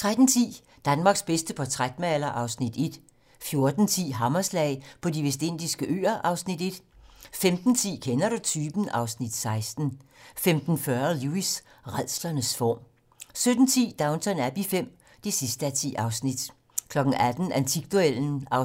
13:10: Danmarks bedste portrætmaler (Afs. 1) 14:10: Hammerslag på De Vestindiske Øer (Afs. 1) 15:10: Kender du typen? (Afs. 16) 15:40: Lewis: Rædslens form 17:10: Downton Abbey V (10:10) 18:00: Antikduellen (3:20)